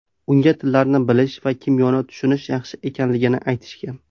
Unga tillarni bilish va kimyoni tushunish yaxshi ekanligini aytishgan.